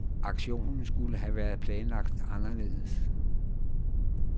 Aktionen skulle have været planlagt anderledes.